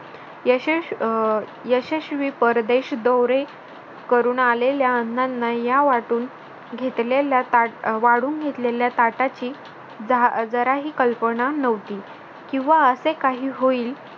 यशश अं यशस्वी परदेश दवरे करून आलेल्या अण्णांना या वाटून घेतलेल्या अह वाढून घेतलेल्या ताटाची जराही कल्पना नव्हती किंवा असे काही होईल.